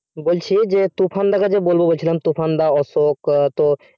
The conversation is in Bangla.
বলছি যে তুফান দাকে যে বলবো বলছিলাম তুফান দা অশোক তো